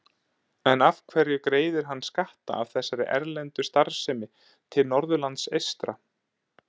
En af hverju greiðir hann skatta af þessari erlendu starfsemi til Norðurlands eystra?